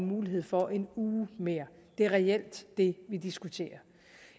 mulighed for en uge mere det er reelt det vi diskuterer